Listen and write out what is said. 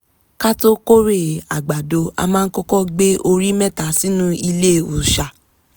ka tó kórè àgbàdo a máa kọ́kọ́ gbé orí mẹ́ta sínú ilé òòṣà